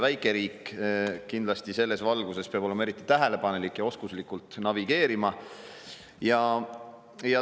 Väikeriik peab selles valguses olema kindlasti eriti tähelepanelik ja oskuslikult navigeerima.